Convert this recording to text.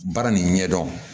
Baara nin ɲɛdɔn